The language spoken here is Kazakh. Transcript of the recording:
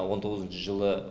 он тоғызыншы жылы